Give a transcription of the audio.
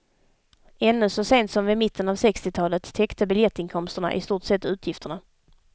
Ännu så sent som vid mitten av sextiotalet, täckte biljettinkomsterna i stort sett utgifterna.